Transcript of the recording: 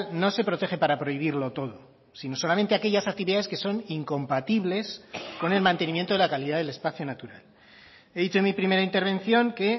no se protege para prohibirlo todo sino solamente aquellas actividades que son incompatibles con el mantenimiento de la calidad del espacio natural he dicho en mi primera intervención que